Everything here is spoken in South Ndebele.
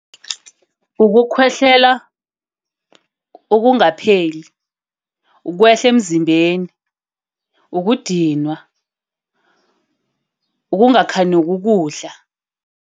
Ukukhwehlela okungapheli. Ukwehla emzimbeni, ukudinwa, ukungakhanuki ukudla.